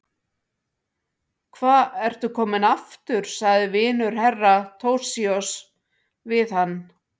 Hva ertu kominn aftur, sagði vinur Herra Toshizoz við hann.